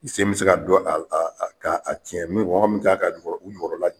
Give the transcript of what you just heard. I se bɛ se ka dɔn a a a k'a tiɲɛ , mɔgɔ min kan ka u jukɔrɔla.